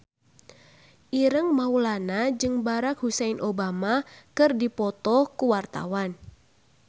Ireng Maulana jeung Barack Hussein Obama keur dipoto ku wartawan